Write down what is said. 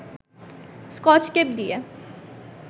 Scotch tape দিয়ে